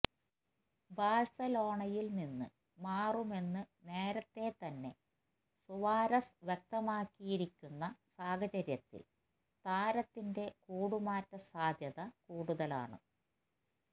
ബാഴ്സലോണയില് നിന്ന് മാറുമെന്ന് നേരത്തെ തന്നെ സുവാരസ് വ്യക്തമാക്കിയിരിക്കുന്ന സാഹചര്യത്തില് താരത്തിന്റെ കൂടുമാറ്റ സാധ്യത കൂടുതലാണ്